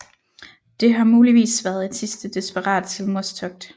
Det har muligvis været et sidste desperat selvmordstogt